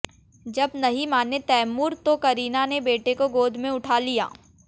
जब नहीं माने तैमूर तो करीना ने बेटे को गोद में उठा लिया